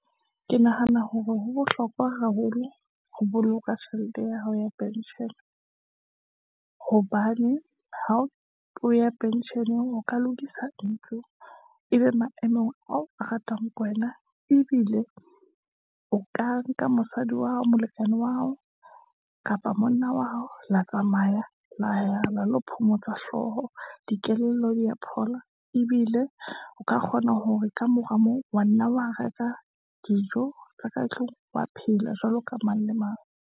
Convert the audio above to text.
Ke nahana hore ho bohlokwa haholo ho boloka tjhelete ya hao ya pension-e, hobane ha o ya pension-eng, o ka lokisa ntlo. Ebe maemong ao a ratang wena, ebile o ka nka mosadi wa hao, molekane wa hao, kapa monna wa hao, la tsamaya la ya la lo phomotsa hlooho, dikelello di ya phola. Ebile o ka kgona hore ka mora moo, wa nna wa reka dijo tsa ka tlung, wa phela jwalo ka mang le mang.